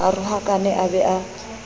a rohakane a be a